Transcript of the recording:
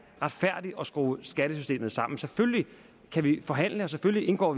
retfærdigt at skrue skattesystemet sammen selvfølgelig kan vi forhandle og selvfølgelig indgår